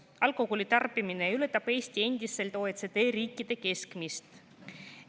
Alkoholi tarbimine ületab Eestis endiselt OECD riikide keskmist.